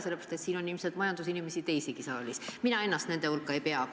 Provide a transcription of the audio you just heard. Siin saalis on ilmselt teisigi majandusinimesi, mina ennast nende hulka ei arva.